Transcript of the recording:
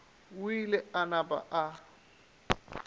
o ile a napa a